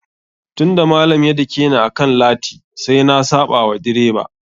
Tun da malam ya dakeni akan lati, sai na saɓa wa direba.